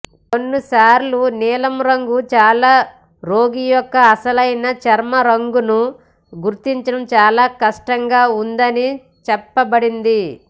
కొన్నిసార్లు నీలం రంగు చాలా రోగి యొక్క అసలైన చర్మం రంగును గుర్తించడం చాలా కష్టంగా ఉందని చెప్పబడింది